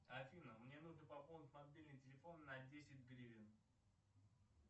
афина мне нужно пополнить мобильный телефон на десять гривен